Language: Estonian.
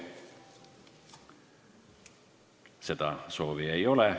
Seda soovi ei ole.